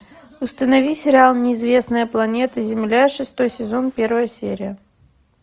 установи сериал неизвестная планета земля шестой сезон первая серия